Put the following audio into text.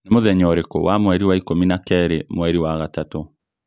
Nĩ mũthenya ũrĩkũ wa mweri wa ikũmi na kaĩrĩ mweri wa gatatũ